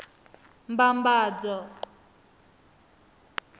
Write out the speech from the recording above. mbambadzo